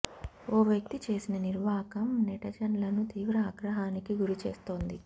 ఓ వ్యక్తి చేసిన నిర్వాకం నెటజన్లను తీవ్ర ఆగ్రహానికి గురి చేస్తోంది